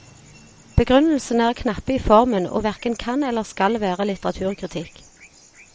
Begrunnelsene er knappe i formen, og hverken kan eller skal være litteraturkritikk.